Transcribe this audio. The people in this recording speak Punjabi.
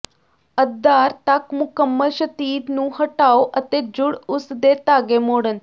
ਅਧਾਰ ਤੱਕ ਮੁਕੰਮਲ ਸ਼ਤੀਰ ਨੂੰ ਹਟਾਓ ਅਤੇ ਜੂੜ ਉਸ ਦੇ ਧਾਗੇ ਮੋੜਣ